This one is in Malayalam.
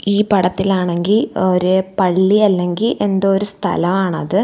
ഈ പടത്തിലാണെങ്കി ഒര് പള്ളിയല്ലെങ്കി എന്തോ ഒരു സ്ഥലമാണത്.